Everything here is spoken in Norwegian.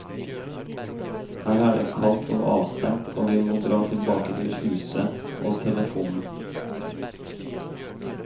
Her er det kaldt og avstengt og vi må dra tilbake til huset, og telefonen.